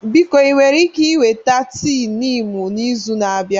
Biko ị nwere ike iweta tii Niimu n'izu na-abịa?